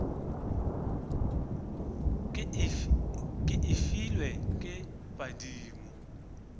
ke e filwe ke badimo